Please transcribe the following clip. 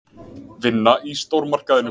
Vinna í stórmarkaðinum.